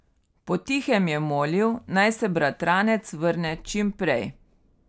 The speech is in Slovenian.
Po tihem je molil, naj se bratranec vrne čim prej.